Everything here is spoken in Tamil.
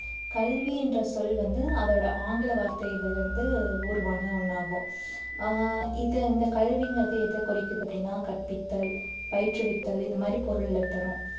கல்வின்ற சொல் வந்து அதோட ஆங்கில வார்த்தையில இருந்து உருவான ஒண்ணாகும் ஆஹ் இது அந்த கல்விங்கறது எதை குறிக்குது அப்படின்னா கற்பித்தல், பயிற்றுவித்தல் இந்த மாதிரி பொருளை தரும்